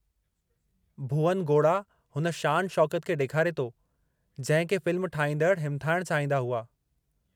भुवन गोड़ा हुन शान शौक़त खे ॾेखारे थो जंहिं खे फ़िल्म ठाहींदड़ हिमथाइणु चाहींदा हुआ।